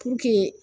Puruke